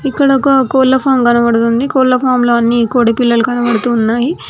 ఇక్కడ ఒక కోళ్ల ఫార్మ్ కనపడుతుంది కోళ్ల ఫార్మ్ లో అన్నీ కోడి పిల్లలు కనబడుతూ ఉన్నాయి.